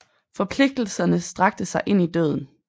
Forpligtelserne strakte sig ind i døden